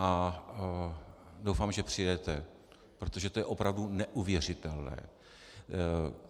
A doufám, že přijedete, protože to je opravdu neuvěřitelné.